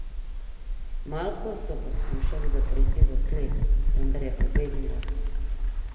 Malko so poskušali zapreti v klet, vendar je pobegnila.